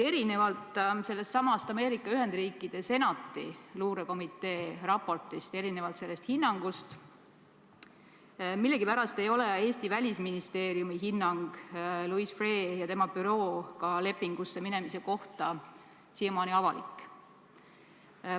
Erinevalt sellestsamast Ameerika Ühendriikide Senati luurekomitee raportist, erinevalt selle hinnangust ei ole millegipärast Eesti Välisministeeriumi hinnang Louis Freeh' ja tema bürooga lepingusse minemise kohta siiamaani avalik.